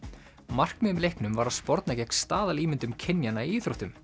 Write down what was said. markmiðið með leiknum var að sporna gegn staðalímyndum kynjanna í íþróttum